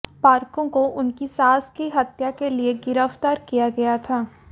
पार्कों को उनकी सास की हत्या के लिए गिरफ्तार किया गया था